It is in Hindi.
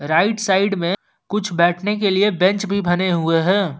राइट साइड में कुछ बैठने के लिए बेंच भी बने हुए हैं।